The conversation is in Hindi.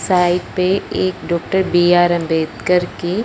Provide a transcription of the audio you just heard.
साइड पे एक डॉक्टर बि_आर अम्बेडकर की --